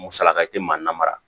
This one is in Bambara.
Musalaka tɛ maa na mara